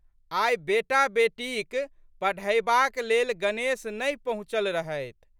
आइ बेटाबेटीक पढ़यबाक लेल गणेश नहि पहुँचल रहथि।